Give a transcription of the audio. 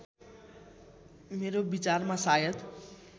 मेरो विचारमा सायद